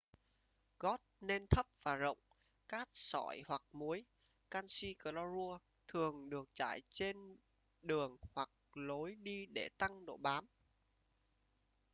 gót nên thấp và rộng. cát sỏi hoặc muối canxi clorua thường được rải trên đường hoặc lối đi để tăng độ bám